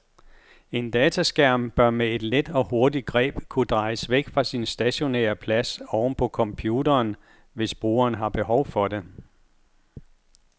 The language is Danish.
En dataskærm bør med et let og hurtigt greb kunne drejes væk fra sin stationære plads oven på computeren, hvis brugeren har behov for det.